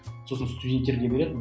сосын студенттерге береді